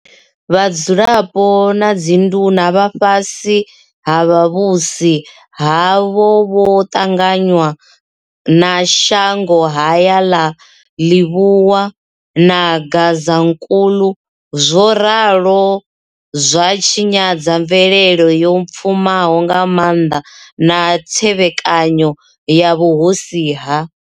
Vhadzulapo na dzinduna vha fhasi ha vhuvhusi havho vho ṱanganywa na shangohaya ḽa Lebowa na Gazankulu zwo ralo zwa tshinyadza mvelele yo pfumaho nga maanḓa na thevhekanyo ya vhuhosi ha.